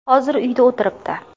Hozir uyda o‘tiribdi.